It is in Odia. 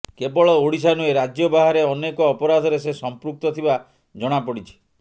କେବଳ ଓଡ଼ିଶା ନୁହେଁ ରାଜ୍ୟ ବାହାରେ ଅନେକ ଅପରାଧରେ ସେ ସମ୍ପୃକ୍ତ ଥିବା ଜଣାପଡିଛି